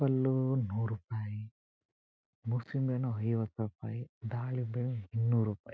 ಪಲ್ಲು ನೂರ್ ರೂಪಾಯಿ ಮುಸ್ಲಿಮ್ ಏನೋ ಐವತ್ತು ರೂಪಾಯಿ ದಾಳಿಂಬೆ ಇನ್ನೂರ ರೂಪಾಯಿ.